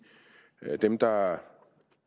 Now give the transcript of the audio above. dem der